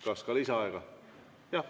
Kas ka lisaaega?